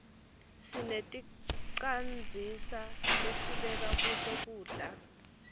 sineticandzisa lesibeka kuto kudla